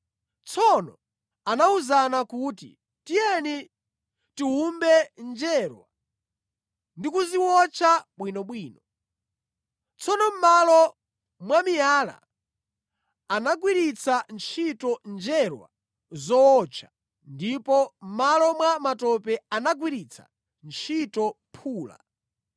Tsono anawuzana kuti, “Tiyeni tiwumbe njerwa ndi kuziwotcha bwinobwino.” Tsono mʼmalo mwa miyala anagwiritsa ntchito njerwa zowotcha, ndipo mʼmalo mwa matope anagwiritsa ntchito phula.